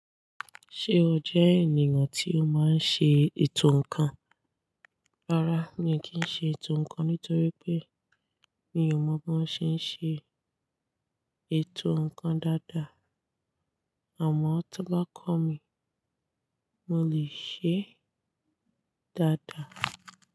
Ṣé o jẹ́ ènìyàn tí ó máa ń ṣe ètò ǹkan? Rárá, mi kì í ṣe ètò ǹkan nítorí pé mi ò mọ bí wọ́n ṣe ń ṣe ètò ǹkan dáadáa. Àmọ́ tó bá kọ́ mi, mo lè ṣe é dáadáa.